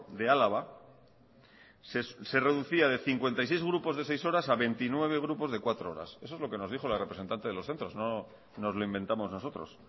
de álava se reducía de cincuenta y seis grupos de seis horas a veintinueve grupos de cuatro horas eso es lo que nos dijo la representante de los centros no nos lo inventamos nosotros